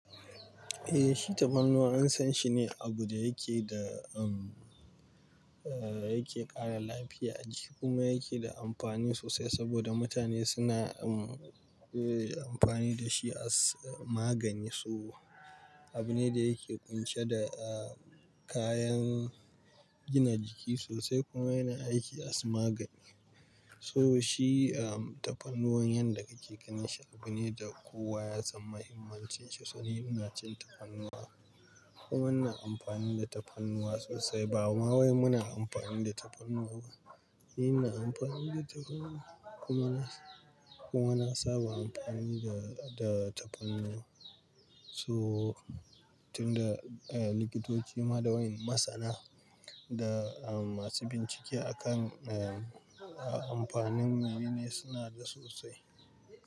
Eh, shi tafarnuwa an san shi ne abu da yake da, am, yake ƙara lafiya a jiki kuma yake da amfani sosai saboda mutane suna, am, amfani da shi as magani. So abu ne da yake ƙunshe da kayan gina jiki sosai kuma yana aiki as magani. To shi tafarnuwa yanda kake ganin shi abu ne da kowa ya san mahimmancin shi. To ni ina cin tafarnuwa, kuma ina amfani da tafarnuwa sosai. Bama wai muna amfani da tafarnuwa. Ni ina amfani da tafarnuwa kuma na, kuma na saba amfani da tafarnuwa. To tunda likitoci ma da wayen masana da masu bincike a kan amfanin mene suna da sosai.